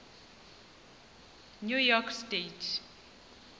new york state